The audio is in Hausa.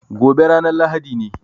Gobe ranan lahadi ne